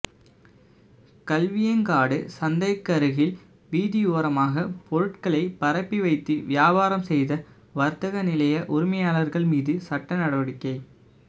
கல்வியங்காடு சந்திக்கருகில் வீதியோரமாக பொருட்களைப் பரப்பி வைத்து வியாபாரம் செய்த வர்த்தக நிலைய உரிமையாளர்கள் மீது சட்ட நடவடிக்கை